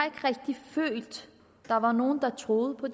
følt at der var nogen der troede på